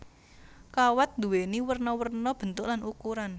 Kawat nduwéni werna werna bentuk lan ukuran